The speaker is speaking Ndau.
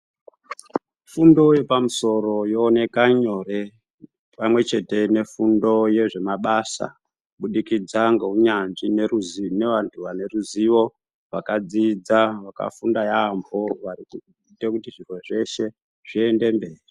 Fundo yepamusoro yooneka nyore pamwechete nefundo yezvemabasa kubudikidza neunyanzvi neruzi nevantu vaneruzivo vakadzidza vari kuite kuti zviro zveshe zviende mberi.